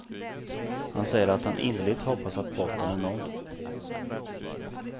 Han säger att han innerligt hoppas att botten är nådd.